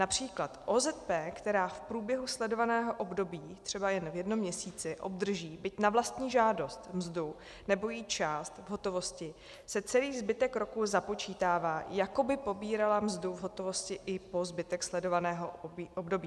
Například OZP, která v průběhu sledovaného období, třeba jen v jednom měsíci, obdrží byť na vlastní žádost mzdu nebo její část v hotovosti, se celý zbytek roku započítává, jako by pobírala mzdu v hotovosti, i po zbytek sledovaného období.